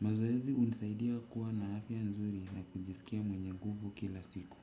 mazoezi hunisaidia kuwa na afya nzuri na kujisikia mwenye nguvu kila siku.